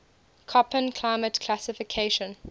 koppen climate classification